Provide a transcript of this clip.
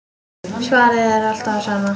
Svarið er alltaf það sama.